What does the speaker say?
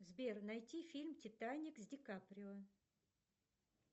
сбер найти фильм титаник с ди каприо